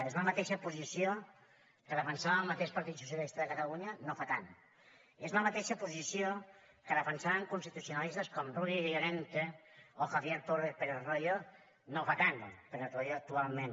és la mateixa posició que defensava el mateix partit socialista de catalunya no fa tant és la mateixa posició que defensaven constitucionalistes com rubio llorente o javier pérez royo no fa tant pérez royo actualment